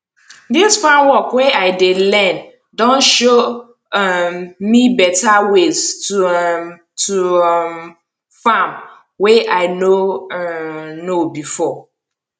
dis farm work wey i dey learn don show um me better ways to um to um farm wey i no um know before